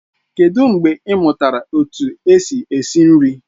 Kedụ mgbe ị mụtara etu esi esi nri?